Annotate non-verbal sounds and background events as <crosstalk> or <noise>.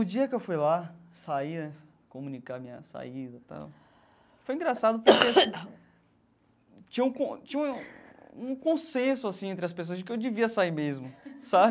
No dia que eu fui lá, sair né, comunicar minha saída e tal, foi engraçado <coughs> porque assim tinha um con tinha um consenso assim entre as pessoas de que eu devia sair mesmo, sabe?